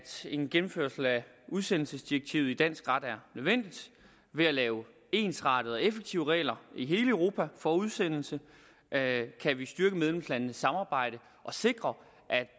en gennemførelse af udsendelsesdirektivet i dansk ret er nødvendig ved at lave ensrettede og effektive regler i hele europa for udsendelse kan vi styrke medlemslandenes samarbejde og sikre